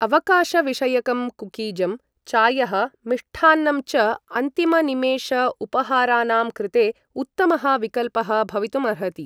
अवकाश विषयकं कुकीजं, चायः, मिष्टान्नं च अन्तिम निमेष उपहारानाम् कृते उत्तमः विकल्पः भवितुम् अर्हति ।